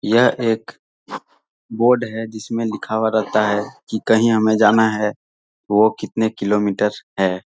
यह एक बोर्ड है जिसमे लिखा हुआ रहता है की कहीं हमे जाना है वो कितने किलोमीटर है।